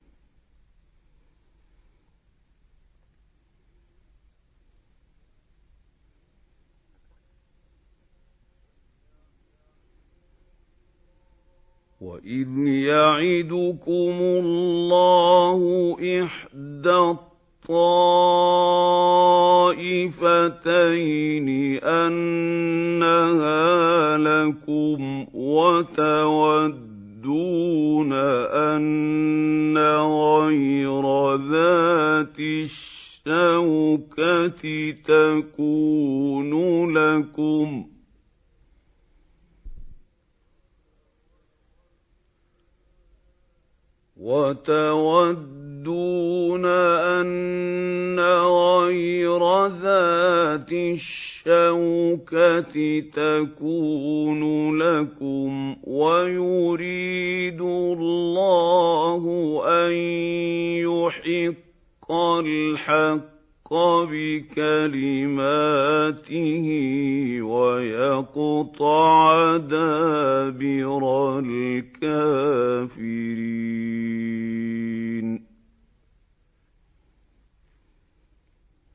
وَإِذْ يَعِدُكُمُ اللَّهُ إِحْدَى الطَّائِفَتَيْنِ أَنَّهَا لَكُمْ وَتَوَدُّونَ أَنَّ غَيْرَ ذَاتِ الشَّوْكَةِ تَكُونُ لَكُمْ وَيُرِيدُ اللَّهُ أَن يُحِقَّ الْحَقَّ بِكَلِمَاتِهِ وَيَقْطَعَ دَابِرَ الْكَافِرِينَ